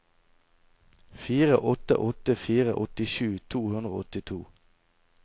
fire åtte åtte fire åttisju to hundre og åttito